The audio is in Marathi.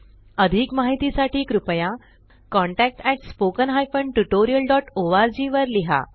अधिक माहिती साठी कृपया contactspoken tutorialorg वर लिहा